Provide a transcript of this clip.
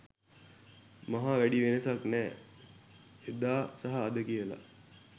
මහා වැඩි වෙනසක් නෑ එදා‌ සහ අද කියල